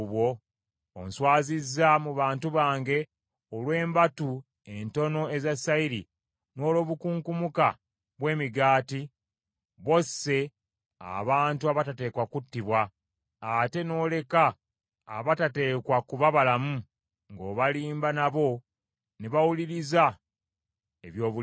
Onswazizza mu bantu bange olw’embatu entono eza sayiri n’olw’obukunkumuka bw’emigaati, bw’osse abantu abatateekwa kuttibwa, ate n’oleka abatateekwa kuba balamu, ng’obalimba nabo ne bawuliriza eby’obulimba.